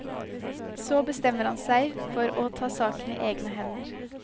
Så bestemmer han seg for å ta saken i egne hender.